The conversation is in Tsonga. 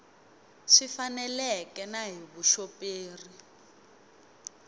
swi faneleke na hi vuxoperi